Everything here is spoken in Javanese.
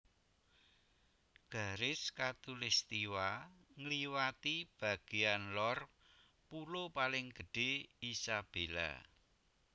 Garis khatulistiwa ngliwati bagéyan lor pulo paling gedhé Isabela